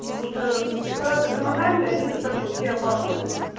потому что препараты гормональные они достаточно все опасные